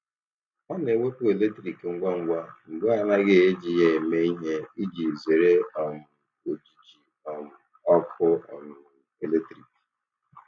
Ọ na-ewepụ eletriki ngwa ngwa mgbe a naghị eji ya eme ihe iji zere um ojiji um ọkụ um eletrik.